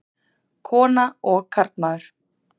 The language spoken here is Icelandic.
Kona og karlmaður.